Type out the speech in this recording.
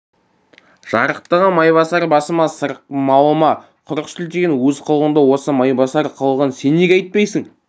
жарықтығым майбасар басыма сырық малыма құрық сілтеген өз қылығыңды осы майбасар қылығын сен неге айтпайсың